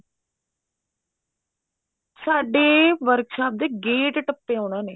ਸਾਡੇ workshop ਦਾ gate ਟੱਪੇ ਉਹਨਾ ਨੇ